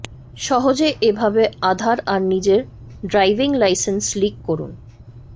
সহজে এভাবে আধার আর নিজের ড্রাইভিং লাইসেন্স লিক করুন